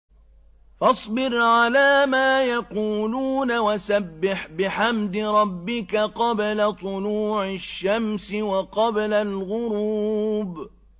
فَاصْبِرْ عَلَىٰ مَا يَقُولُونَ وَسَبِّحْ بِحَمْدِ رَبِّكَ قَبْلَ طُلُوعِ الشَّمْسِ وَقَبْلَ الْغُرُوبِ